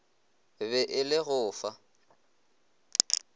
be e le go fa